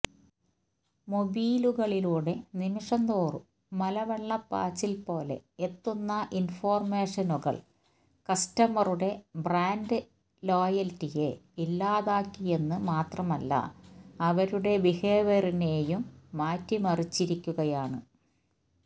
മൊബീലുകളിലൂടെ നിമിഷംതോറും മലവെള്ളപ്പാച്ചില്പോലെ എത്തുന്ന ഇന്ഫര്മേഷനുകള് കസ്റ്റമറുടെ ബ്രാന്ഡ് ലോയല്റ്റിയെ ഇല്ലാതാക്കിയെന്ന് മാത്രമല്ല അവരുടെ ബിഹേവിയറിനെയും മാറ്റിമറിച്ചിരിക്കുകയാണ്